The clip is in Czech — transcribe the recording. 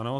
Ano.